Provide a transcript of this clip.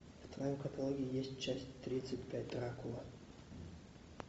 в твоем каталоге есть часть тридцать пять дракула